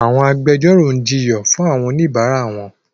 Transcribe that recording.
Àwọn agbẹjọ́rò ń jiyàn fún àwọn oníbàárà wọn.